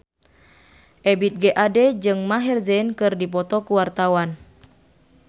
Ebith G. Ade jeung Maher Zein keur dipoto ku wartawan